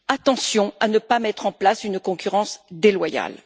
Attention à ne pas mettre en place une concurrence déloyale.